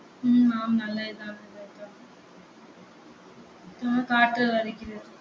உம் ஆம் நல்லதுதான் உம் காற்று வருகிறது